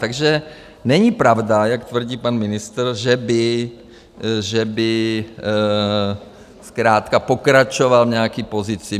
Takže není pravda, jak tvrdí pan ministr, že by zkrátka pokračoval v nějaké pozici.